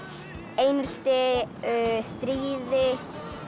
einelti stríði